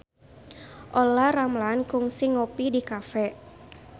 Olla Ramlan kungsi ngopi di cafe